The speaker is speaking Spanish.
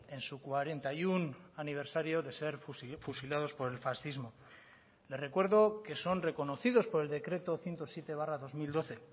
en su cuarenta y uno aniversario de ser fusilados por el fascismo le recuerdo que son reconocidos por el decreto ciento siete barra dos mil doce